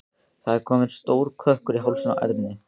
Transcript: Það var kominn stór kökkur í hálsinn á Erni.